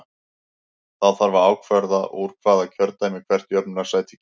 Þá þarf að ákvarða úr hvaða kjördæmi hvert jöfnunarsæti kemur.